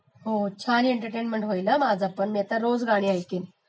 हो छान एंटर्टेन्मेंट होईल हा माझी, मी पण आता रोज गाणी ऐकीन